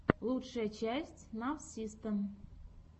лучшая часть навсисто